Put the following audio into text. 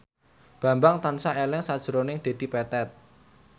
Bambang tansah eling sakjroning Dedi Petet